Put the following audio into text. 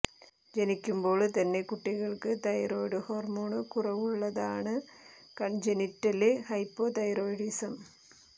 ജനിക്കുമ്പോള് തന്നെ കുട്ടികള്ക്ക് thyroid hormone കുറവുള്ളതാണ് കണ്ജെനിറ്റല് ഹൈപ്പോ തൈറോയിഡിസം